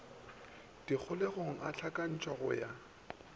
dikholegong a hlakantšhwa go ya